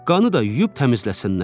Qanı da yuyub təmizləsinlər.